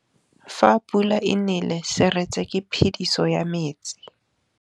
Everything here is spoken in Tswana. Fa pula e nelê serêtsê ke phêdisô ya metsi.